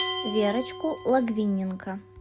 верочку логвиненко